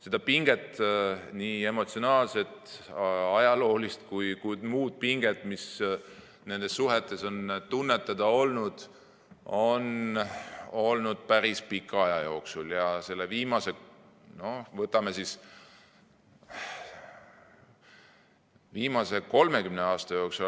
Seda pinget, nii emotsionaalset, ajaloolist kui ka muud pinget, mida nendes suhetes on tunnetada olnud, on olnud päris pika aja jooksul, viimase 30 aasta jooksul.